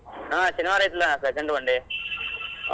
ಹಾ ಶನಿವಾರ ಐತ್ಲಾ second one day .